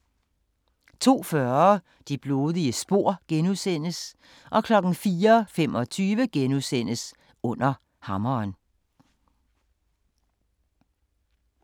02:40: Det blodige spor * 04:25: Under Hammeren *